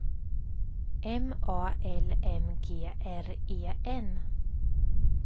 M A L M G R E N